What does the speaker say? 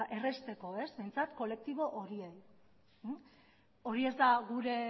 errazteko behintzat kolektibo horiei hori ez da gure